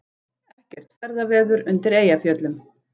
Ekkert ferðaveður undir Eyjafjöllum